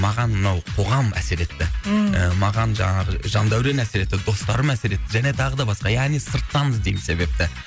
маған мынау қоғам әсер етті ммм і маған жаңағы жандәурен әсер етті достарым әсер етті және тағы да басқа яғни сырттан іздеймін себепті